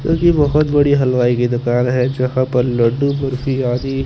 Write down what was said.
घर कि बहुत बड़ी हलवाई कि दूकान है जहाँ पर लड्डू बर्फी आदी--